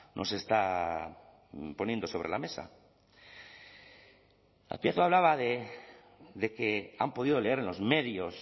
nos está poniendo sobre la mesa azpiazu hablaba de que han podido leer en los medios